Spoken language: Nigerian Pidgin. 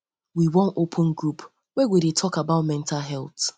we wan open group wey go dey talk about mental health